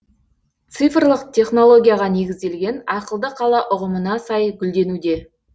цифрлық технологияға негізделген ақылды қала ұғымына сай гүлденуде